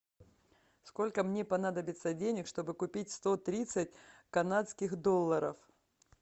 сколько мне понадобится денег чтобы купить сто тридцать канадских долларов